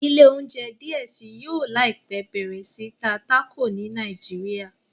ilé ounjẹ diẹ sí yóò láìpé bẹrẹ sí ta Taco ni Naijiria.